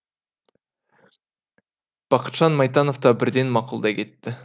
бақытжан майтанов та бірден мақұлдай кетті